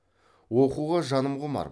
оқуға жаным құмар